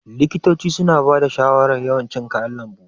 Likitoci suna bada shawarar yawan cin kayan lambu.